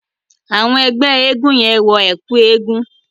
Àwọn ẹgbẹ́ eégún yẹ́n wọn ẹ̀kún eégún.